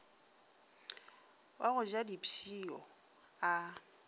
wa go ja dipshio a